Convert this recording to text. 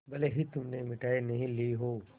भले ही तुमने मिठाई नहीं ली हो